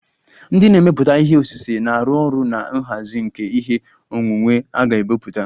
Ndị na-emepụta ihe osise na-arụ ọrụ na nhazi nke ihe onwunwe a ga-ebipụta